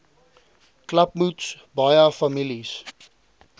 klapmuts baie families